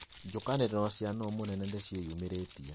Njũkanĩrĩro cia nũ mũnene nĩciĩyumĩrĩtie